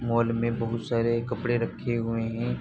Mall में बहौत सारे कपडे रखे हुए हैं।